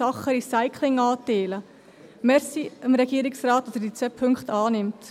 Danke an den Regierungsrat, dass er diese zwei Punkte annimmt.